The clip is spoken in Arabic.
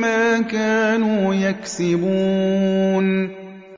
مَّا كَانُوا يَكْسِبُونَ